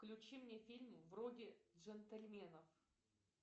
включи мне фильмы вроде джентельменов